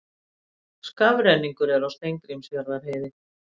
Skafrenningur er á Steingrímsfjarðarheiði